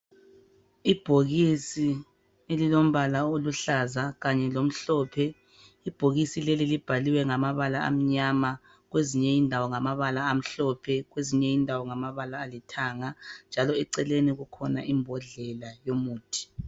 Ibhokisi elilombala oluhlaza kanye lomhlophe, ibhokisi leli libhaliwe ngamabala amnyama kwezinye indawo ngabala amhlophe kwezinye indawo ngamabala alithanga, njalo eceleni kukhona imbodlela yomuthi.